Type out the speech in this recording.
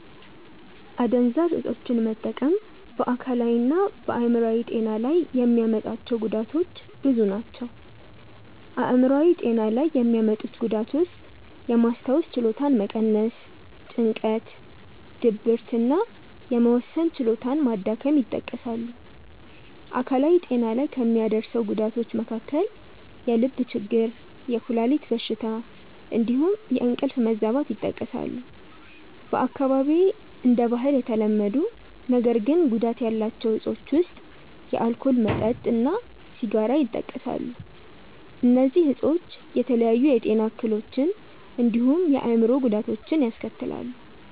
አደንዛዥ እፆችን መጠቀም በ አካላዊ እና በ አይምሮአዊ ጤና ላይ የሚያመጣቸው ጉዳቶች ብዙ ናቸው። አይምሯዊ ጤና ላይ የሚያመጡት ጉዳት ውስጥየማስታወስ ችሎታን መቀነስ፣ ጭንቀት፣ ድብርት እና የመወሰን ችሎታ መዳከም ይጠቀሳሉ። አካላዊ ጤና ላይ ከሚያደርሰው ጉዳቶች መካከል የልብ ችግር፣ የኩላሊት በሽታ እንዲሁም የእንቅልፍ መዛባት ይጠቀሳሉ። በአካባቢዬ እንደ ባህል የተለመዱ ነገር ግን ጉዳት ያላቸው እፆች ውስጥ የአልኮል መጠጥ እና ሲጋራ ይጠቀሳሉ። እነዚህ እፆች የተለያዩ የጤና እክሎችን እንዲሁም የአእምሮ ጉዳቶችን ያስከትላሉ።